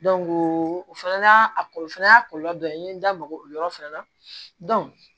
o fana y'a a kɔlɔlɔ o fana y'a kɔlɔlɔ dɔ ye n ye n da maga o yɔrɔ fana na